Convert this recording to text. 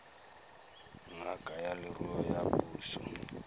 ngaka ya leruo ya puso